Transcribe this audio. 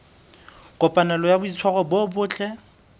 kopanelo ya boitshwaro bo botle